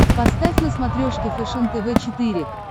поставь на смотрешке фэшен тв четыре к